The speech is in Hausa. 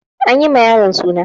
An yi ma yaron suna.